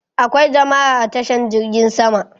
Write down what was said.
Akwai jama'a a tashan jirgin sama